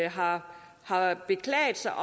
har har beklaget sig